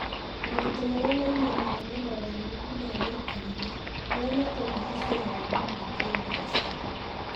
Moritũ marĩa moimanaga na mogarũrũku ma mĩikarĩre, marĩa matũrigicĩirie, na ma kĩĩmbeca.